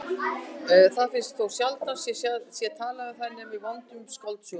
Þær finnast þótt sjaldan sé talað um þær nema í vondum skáldsögum.